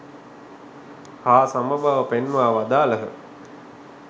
හා සම බව පෙන්වා වදාළහ.